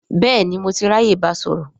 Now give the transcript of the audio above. Bẹ́ẹ̀ni, mo ti ráyè báa sọ̀rọ̀